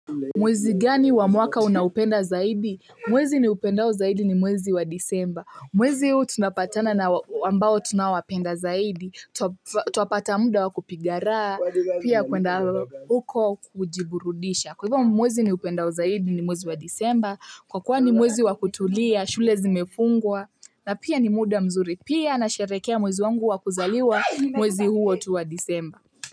Mwezi gani wa mwaka unaupenda zaidi? Mwezi ni upendao zaidi ni mwezi wa disemba. Mwezi huu tunapatana na ambao tunaowapenda zaidi. Twapata muda wa kupiga rahs, pia kuenda huko kujiburudisha. Kwa hivyo mwezi niupendao zaidi ni mwezi wa disemba, kwa kuwa ni mwezi wa kutulia, shule zimefungwa, na pia ni muda mzuri. Pia nasherehekea mwezi wangu wa kuzaliwa mwezi huo tu wa disemba.